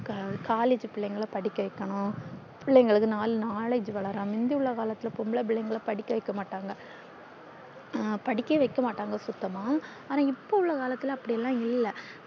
collage பிள்ளைகள படிக்க வைக்கணும் பிள்ளைகளுக்கு நாள் knowledge வளரா முந்தி உள்ள காலத்துள்ள பொம்பள பிள்ளைகள படிக்க வைக்க மாட்டாங்க அஹ் படிக்க வைக்க மாட்டாங்க சுத்தம்மா இப்போ உள்ள காலத்துள்ள அப்டில்லா இல்ல